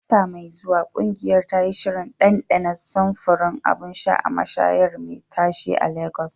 A wata mai zuwa, ƙungiyar ta yi shirin ɗanɗana samfuran abun sha a mashayar me tashe a lagos